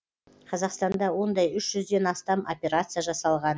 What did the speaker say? қазақстанда ондай үш жүзден астам операция жасалған